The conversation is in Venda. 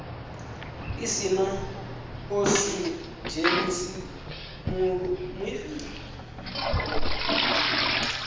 si na okisidzheni malofhani avho